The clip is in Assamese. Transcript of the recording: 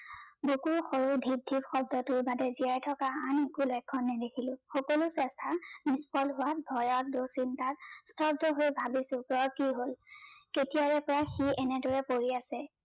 বুকুৰ সৰু ধিপ ধিপ শব্দটোৰ বাহিৰে জীয়াই থকাৰ আন কোনও লক্ষন নেদেখিলো সকলো চেষ্টা নিচল হোৱাত ভয়ত দু-চিন্তাত ভাগিছো কি হল কেতিয়াৰে পৰা সি এনেদৰে পৰি আছে